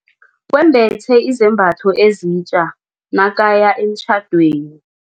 Wembethe izambatho ezitja nakaya emtjhadweni.